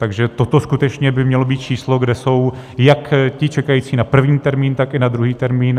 Takže toto skutečně by mělo být číslo, kde jsou jak ti čekající na první termín, tak i na druhý termín.